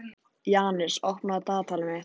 Janus, opnaðu dagatalið mitt.